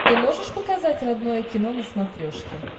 ты можешь показать родное кино на смотрешке